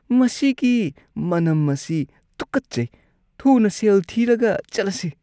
ꯃꯁꯤꯒꯤ ꯃꯅꯝ ꯑꯁꯤ ꯇꯨꯀꯠꯆꯩ꯫ ꯊꯨꯅ ꯁꯦꯜ ꯊꯤꯔꯒ ꯆꯠꯂꯁꯤ꯫